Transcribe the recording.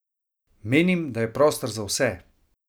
Menim, da je prostor za vse!